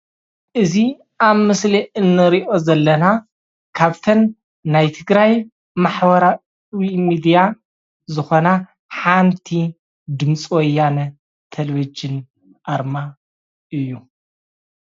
እዚ ኣብ ምስሊ እንሪኦ ዘለና ካብተን ናይ ትግራይ ማሕበራዊ ሚድያ ዝኾና ሓንቲ ድምፂ ወያነ ቴሌቭዠን ኣርማ እዩ።